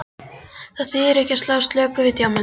Það þýðir ekki að slá slöku við í djamminu.